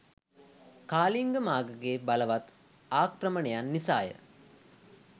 කාලිංග මාඝගේ බලවත් ආක්‍රමණයන් නිසා ය.